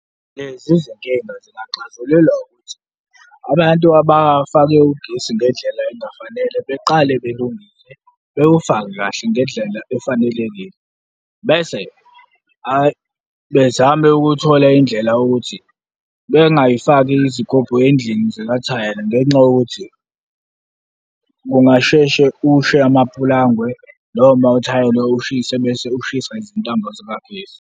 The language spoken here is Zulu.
Lezi zinkinga singaxazululwa ukuthi, abantu abafake ugesi ngendlela engafanele beqale belungise, bewufake kahle ngendlela efanelekile bese bezame ukuthola indlela yokuthi bengazifaki izigubhu ezindlini zikathayela ngenxa yokuthi, kungasheshe kushe amapulangwe noma uthayela ushise bese ushisa izintambo zikagesi.